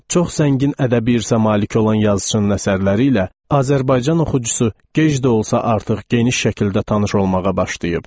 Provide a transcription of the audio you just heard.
Çox zəngin ədəbi irsə malik olan yazıçının əsərləri ilə Azərbaycan oxucusu gec də olsa artıq geniş şəkildə tanış olmağa başlayıb.